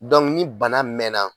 ni bana mɛɛnna